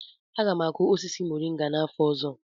Aga m akụ osisi moringa n'afọ ọzọ